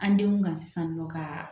An denw ka sisan nɔ kaa